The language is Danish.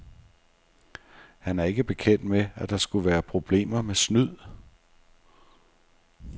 Han er ikke bekendt med, at der skulle være problemer med snyd.